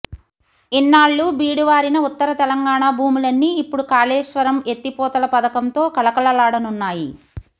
ఇన్నాళ్లూ బీడువారిన ఉత్తర తెలంగాణ భూములన్నీ ఇప్పడు కాళేశ్వరం ఎత్తిపోతల పథకంతో కళకళలాడనున్నాయి